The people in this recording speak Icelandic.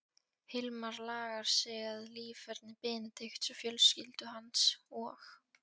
Hilmar lagað sig að líferni Benedikts og fjölskyldu hans og